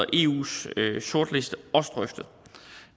og eus sortliste også drøftet